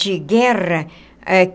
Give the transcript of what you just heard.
De guerra eh.